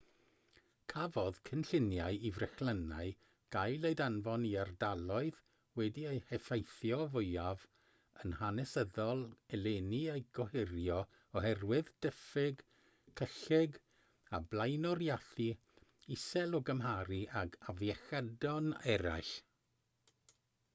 cafodd cynlluniau i frechlynnau gael eu danfon i'r ardaloedd wedi'u heffeithio fwyaf yn hanesyddol eleni eu gohirio oherwydd diffyg cyllid a blaenoriaethu isel o gymharu ag afiechydon eraill